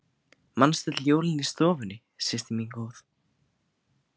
Manstu öll jólin í stofunni systir mín góð.